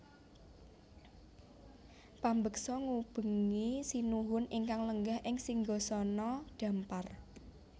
Pambeksa ngubengi Sinuhun ingkang lenggah ing singgasana dhampar